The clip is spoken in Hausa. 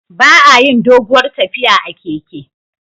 Ba a yin doguwar tafiya a keke